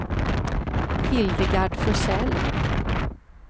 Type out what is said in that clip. Hildegard Forsell